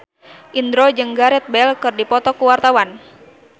Indro jeung Gareth Bale keur dipoto ku wartawan